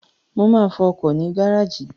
Mo máa fọ ọkọ̀ mi ní gáràjì